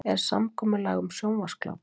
Er samkomulag um sjónvarpsgláp?